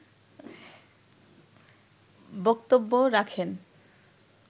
বক্তব্যও রাখেন